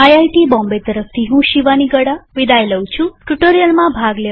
IIT Bombay તરફથી હું શિવાની ગડા વિદાય લઉં છુંટ્યુ્ટોરીઅલમાં ભાગ લેવા આભાર